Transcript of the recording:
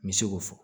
N bɛ se k'o fɔ